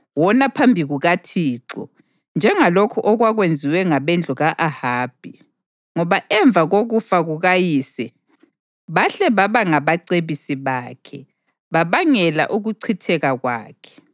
Wona phambi kukaThixo, njengalokhu okwakwenziwe ngabendlu ka-Ahabi, ngoba ngemva kokufa kukayise bahle baba ngabacebisi bakhe, babangela ukuchitheka kwakhe.